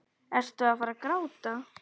Ertu að fara að gráta?